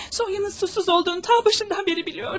Soyunuzun suçsuz olduğunu ta başından beri biliyordum.